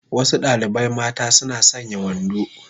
Wasu dalibai mata suna sanya wando